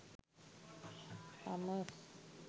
hummers